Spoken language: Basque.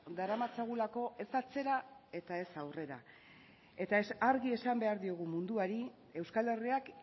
daramatzagulako ez atzera eta ez aurrera eta argi esan behar diogu munduari euskal herriak